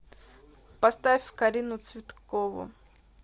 поставь карину цветкову